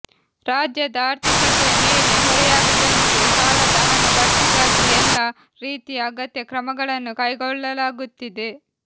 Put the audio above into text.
ರಾಜ್ಯದ ಆರ್ಥಿಕತೆಯ ಮೇಲೆ ಹೊರೆಯಾಗದಂತೆ ಸಾಲದ ಹಣ ಭರ್ತಿಗಾಗಿ ಎಲ್ಲ ರೀತಿಯ ಅಗತ್ಯ ಕ್ರಮಗಳನ್ನು ಕೈಗೊಳ್ಳಲಾಗುತ್ತಿದೆ